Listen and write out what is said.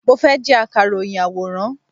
Mo fẹ́ jẹ́ Akàròyìn àwòrán.